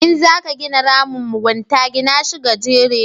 In za ka gina ramin mugunta, gina shi gajere